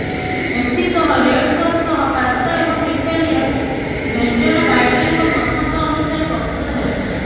ଏଥି ସହ red sauce ସହ ପାସ୍ତା ଏବଂ ଇଟାଲିଆନ ବ୍ୟଞ୍ଜନ ବାଇଡେନଙ୍କ ପସନ୍ଦ ଅନୁସାରେ ପ୍ରସ୍ତୁତ ହେବ